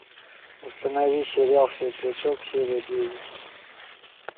установи сериал светлячок серия девять